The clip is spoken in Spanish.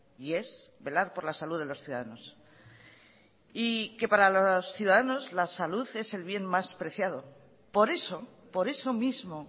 y es velar por la salud de los ciudadanos y que para los ciudadanos la salud es el bien más preciado por eso por eso mismo